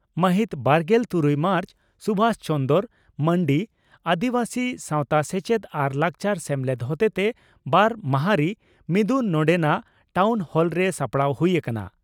ᱢᱟᱦᱤᱛ ᱵᱟᱨᱜᱮᱞ ᱛᱩᱨᱩᱭ ᱢᱟᱨᱪ(ᱥᱩᱵᱷᱟᱥ ᱪᱚᱱᱫᱽᱨᱚ ᱢᱟᱱᱰᱤ) ᱺ ᱟᱹᱫᱤᱵᱟᱹᱥᱤ ᱥᱟᱣᱛᱟ ᱥᱮᱪᱮᱫ ᱟᱨ ᱞᱟᱠᱪᱟᱨ ᱥᱮᱢᱞᱮᱫ ᱦᱚᱛᱮᱛᱮ ᱵᱟᱨ ᱢᱟᱦᱟᱨᱤ ᱢᱤᱫᱩᱱ ᱱᱚᱰᱮᱱᱟᱜ ᱴᱟᱣᱱ ᱦᱚᱞᱨᱮ ᱥᱟᱯᱲᱟᱣ ᱦᱩᱭ ᱟᱠᱟᱱᱟ ᱾